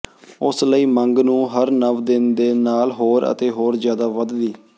ਉਸ ਲਈ ਮੰਗ ਨੂੰ ਹਰ ਨਵ ਦਿਨ ਦੇ ਨਾਲ ਹੋਰ ਅਤੇ ਹੋਰ ਜਿਆਦਾ ਵਧਦੀ